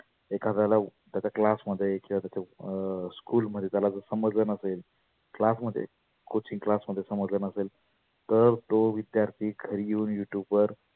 एखाद्याला त्याच्या class मध्ये किंवा त्याच्या अं school मध्ये त्याला जर समजल नसेल class मध्ये coaching class मध्ये समजल नसेल, तर तो विद्यार्थी घरी येऊन YouTube वर